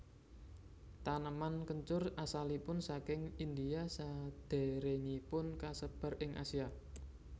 Taneman kencur asalipun saking India sadèrèngipun kasebar ing Asia